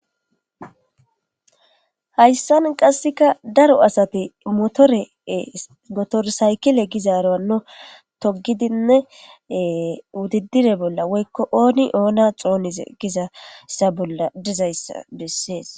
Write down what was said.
hayssan qasseka daro asati motorsaykile gizaaro anno togidinne wudidire bolla woykko ooni oona xoonize gizassa bolla dizayssa bessees